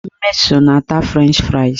Mmeso na-ata frenchị frais